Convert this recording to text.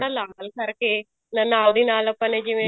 ਲਾਲ ਕਰਕੇ ਨਾਲ ਦੀ ਨਾਲ ਆਪਾਂ ਨੇ ਜਿਵੇਂ